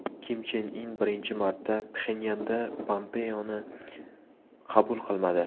Kim Chen In birinchi marta Pxenyanda Pompeoni qabul qilmadi.